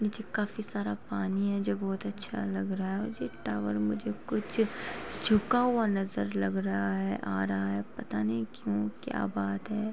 नीचे काफी सारा पानी है जो बोहोत अच्छा लग रहा है। ये टावर मुझे कुछ